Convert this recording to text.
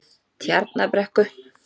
Tjarnarbrekku